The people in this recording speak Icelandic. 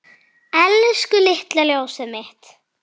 Elsku litla ljósið mitt.